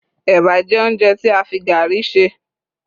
eba jé ounjẹ ti a fi garri ṣe